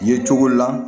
Ye cogo la